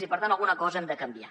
i per tant alguna cosa hem de canviar